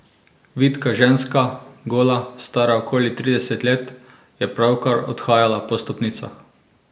Vitka ženska, gola, stara okoli trideset let, je pravkar odhajala po stopnicah.